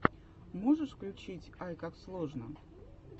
можешь включить айкаксложно